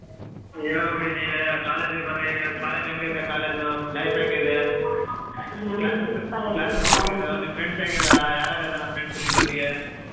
ಹೇಳ್ಬೇಕ್ರಿ ನೀವೇ college ಬರ್ರಿ college ಹೆಂಗೈತೆ college life ಹೆಂಗಿದೆ? ನಿಮ್ friends ಹೆಂಗೀದರಾ ಯಾರ್ ಯಾರ್ ಇದಾರಾ friends ನಿಮ್ ಜೊತಿಗೆ?